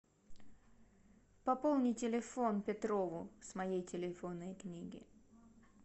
пополни телефон петрову с моей телефонной книги